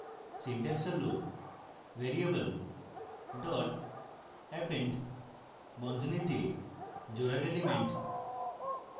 syntax হল: variable dot append বন্ধনীতে জোড়ার element